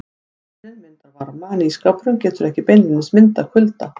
Ofninn myndar varma en ísskápurinn getur ekki beinlínis myndað kulda.